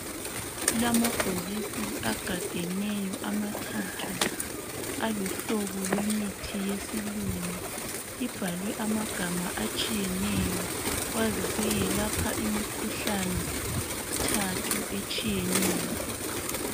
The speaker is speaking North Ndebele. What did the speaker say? Kulamabhokisi agadeneyo amathathu aluhlobo kwemithi yesilungu ibhalwe amagama atshiyeneyo kwaziseke lapha imikhuhlane emithathu etshiyeneyo.